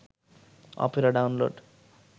Opera download